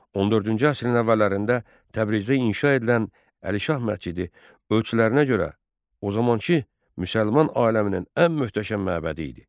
14-cü əsrin əvvəllərində Təbrizdə inşa edilən Əlişah məscidi ölçülərinə görə o zamankı müsəlman aləminin ən möhtəşəm məbədi idi.